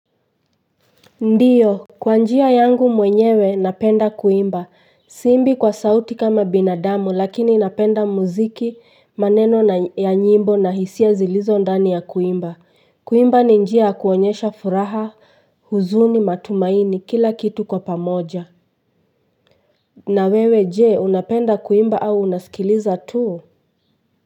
Ndiyo kwa njia yangu mwenyewe napenda kuimba siimbi kwa sauti kama binadamu lakini napenda muziki maneno ya nyimbo na hisia zilizo ndani ya kuimba kuimba ni njia ya kuonyesha furaha huzuni matumaini kila kitu kwa pamoja na wewe jee unapenda kuimba au unasikiliza tuu.